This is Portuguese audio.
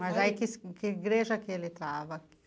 Mas aí que igreja ele estava?